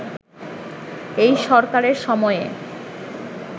এই সরকারের সময়ে